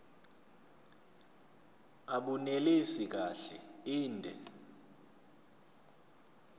abunelisi kahle inde